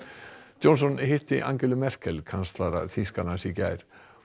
Johnson hitti Angelu Merkel kanslara Þýskalands í gær